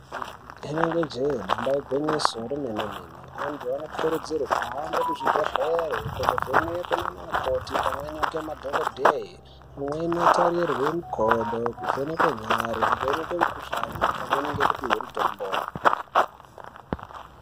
Rinenge jee damba igwinyiso remene mene antu anokurudzirwe kuhambe kuzvibhedhlera kunovhenekwe nana mukoti pamweni ngemadhokodheya eindotarorwe makodo, kuvheneke nyari, kuvhenekwe mikhuhlani pamweni nekupihwe mitombo.